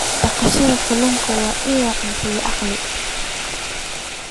Dhaqashada kalluunka waa il cunto iyo dakhli.